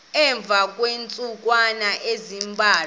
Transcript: emva kweentsukwana ezimbalwa